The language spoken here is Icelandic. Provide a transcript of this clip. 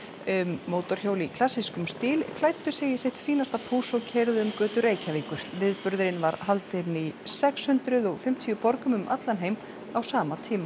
um mótorhjól í klassískum stíl klæddu sig í sitt fínasta púss og keyrðu um götur Reykjavíkur viðburðurinn var haldinn í sex hundruð og fimmtíu borgum um allan heim á sama tíma